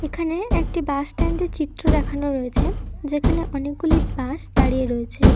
এখানে একটি bus stand -এর চিত্র দেখানো রয়েছে। যেখানে অনেকগুলি বাস দাঁড়িয়ে রয়েছে।